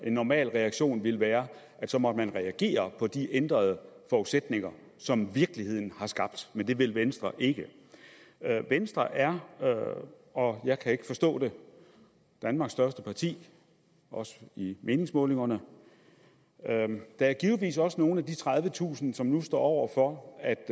en normal reaktion ville være at så måtte man reagere på de ændrede forudsætninger som virkeligheden har skabt men det vil venstre ikke venstre er og jeg kan ikke forstå det danmarks største parti også i meningsmålingerne der er givetvis også nogle af de tredivetusind som nu står over for at